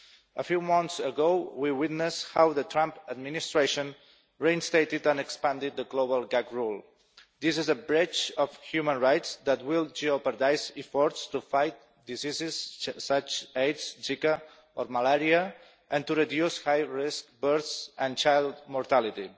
A few months ago, we witnessed how the Trump administration reinstated and expanded the global gag rule. This is a breach of human rights that will jeopardise efforts to fight diseases such as Aids, Zika or Malaria and to reduce high risk births and child mortality.